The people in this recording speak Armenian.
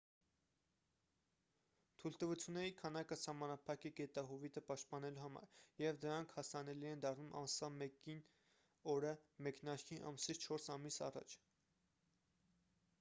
թույլտվությունների քանակը սահմանափակ է գետահովիտը պաշտպանելու համար և դրանք հասանելի են դառնում ամսվա 1-ին օրը մեկնարկի ամսից չորս ամիս առաջ